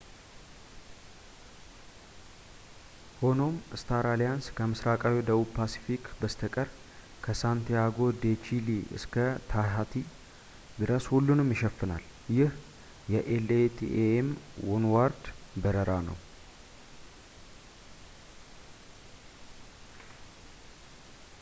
ሆኖም ፣ ስታር አሊያንስ ከምስራቃዊው ደቡብ ፓስፊክ በስተቀር ከ ሳንቲያጎ ዴ ቺሊ እስከ ታሂቲ ድረስ ሁሉንም ይሸፍናል ፣ ይህ የ latam ዋንዎርልድ በረራ ነው